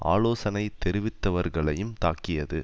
ஆலோசனை தெரிவித்தவர்களையும் தாக்கியது